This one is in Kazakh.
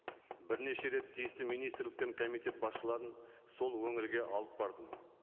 бірнеше рет тиісті министрліктен комитет басшыларын сол өңірге алып бардым